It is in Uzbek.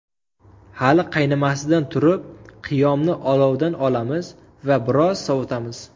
Hali qaynamasidan turib, qiyomni olovdan olamiz va biroz sovitamiz.